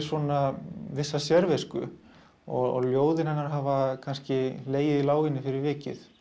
vissa sérvisku og ljóðin hennar hafa kannski legið í láginni fyrir vikið